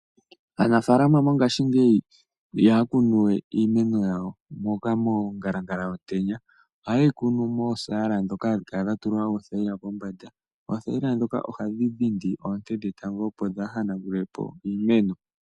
Aanfaalama mongashingeyi ihaya kunu we iimeno yawo monkalankala yomutenya ,oha yeyi kunu moosala moka hadhi kala dhatulwa uuthayila pombanda. Othayila dhoka ohadhi dhindi oonte dhe etango opo dha hanagule po iimeno.